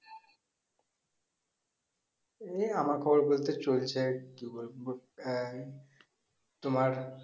এই আমার খবর বলতে চলছে একটু তোমার